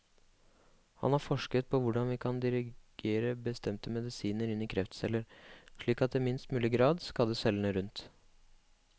Han har forsket på hvordan vi kan dirigere bestemte medisiner inn i kreftceller, slik at det i minst mulig grad skader cellene rundt.